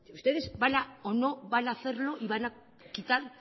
ustedes van o no van a hacerlo y van a quitar